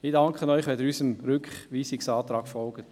Ich danke Ihnen, wenn Sie unserem Rückweisungsantrag folgen.